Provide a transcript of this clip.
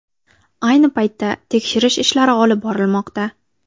Ayni paytda tekshirish ishlari olib borilmoqda.